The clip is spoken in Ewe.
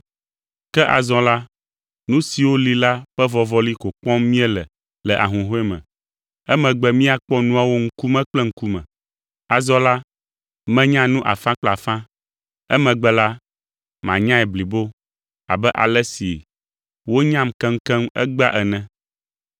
Ke azɔ la, nu siwo li la ƒe vɔvɔli ko kpɔm míele le ahuhɔ̃e me, emegbe míakpɔ nuawo ŋkume kple ŋkume. Azɔ la, menya nu afã kple afã; emegbe la, manyae blibo, abe ale si wonyam keŋkeŋkeŋ egbea ene.